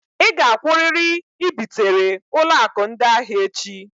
Ị gakwụrịrị i bitere ụlọ akụ ndị ahịa echi